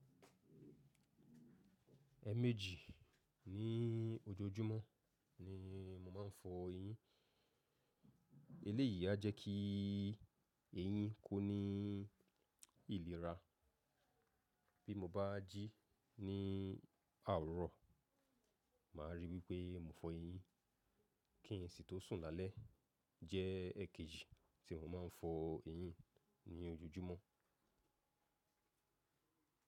Ẹmẹ́jì ní ojoojúmọ́ ni mo máa ń fọ eyín. Eléyìí a jẹ́ kí eyín kú ní ìlera. Bí mo bá jí ní àwurọ̀, màá rí wípé mo fọ eyín. Kí n si tó sùn lálẹ́ jẹ́ ẹkẹjì tí mo máa ń fọ eyín ní ojoojúmọ́.